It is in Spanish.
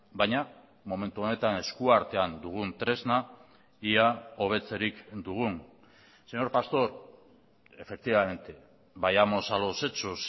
baina momentu honetan eskuartean dugun tresna ia hobetzerik dugun señor pastor efectivamente vayamos a los hechos